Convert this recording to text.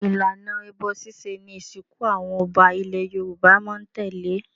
Ìlànà ẹbọ ṣíṣe ni ìsìnkú àwọn ọba ilẹ̀ Yorùbá máa ń tẹ̀lé.